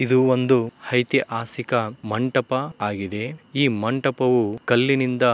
ಇದು ಒಂದು ಐತಿಹಾಸಿಕ ಮಂಟಪ ಆಗಿದೆ. ಈ ಮಂಟಪವು ಕಲ್ಲಿನಿಂದ --